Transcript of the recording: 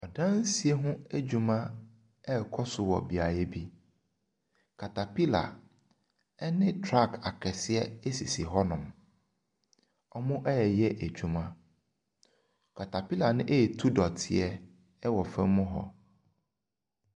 Adansi ho adwuma ɛrekɔ so wɔ beaeɛ bi. Caterpillar ne truck akɛseɛ sisi hɔnom. Wɔreyɛ adwuma caterpillar no ɛretu dɔteɛ wɔ fam hɔ.